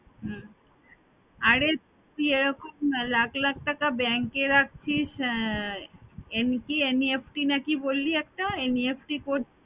হম আরে তুই এরকম না লাখ লাখ টাকা bank এ রাখছিস MT NEFT না কি বললি একটা NEFT কর~